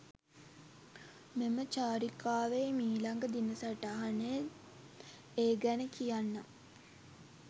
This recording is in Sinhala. මෙම චාරිකාවෙහි මීළඟ දින සටහනෙන් ඒ ගැන කියන්නම් .